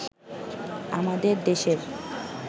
আমাদের দেশের